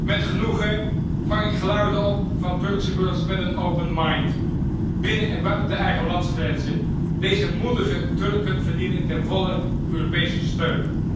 Met genoegen vang ik geluiden op van Turkse burgers met een open mind binnen en buiten de eigen landsgrenzen. Deze moedige Turken verdienen ten volle Europese steun.